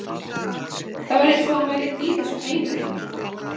Það var eins og hann væri ekki í þessum heimi lengur.